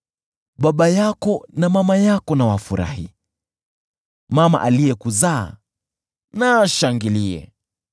Baba yako na mama yako na wafurahi, mama aliyekuzaa na ashangilie!